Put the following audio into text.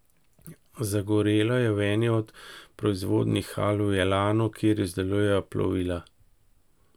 Zagorelo je v eni od proizvodnih hal v Elanu, kjer izdelujejo plovila.